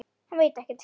Hann veit ekkert.